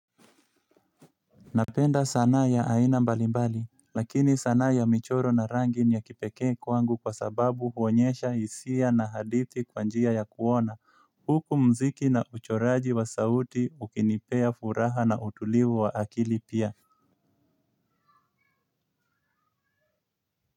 Napenda sana ya aina mbalimbali lakini sanaa ya michoro na rangi ni ya kipekee kwangu kwa sababu huonyesha hisia na hadithi kwa njia ya kuona huku muziki na uchoraji wa sauti ukinipea furaha na utulivu wa akili pia.